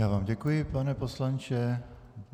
Já vám děkuji, pane poslanče.